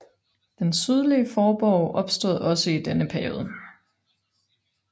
Den sydlige forborg opstod også i denne periode